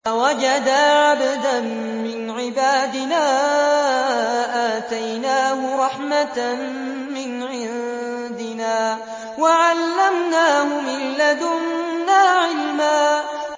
فَوَجَدَا عَبْدًا مِّنْ عِبَادِنَا آتَيْنَاهُ رَحْمَةً مِّنْ عِندِنَا وَعَلَّمْنَاهُ مِن لَّدُنَّا عِلْمًا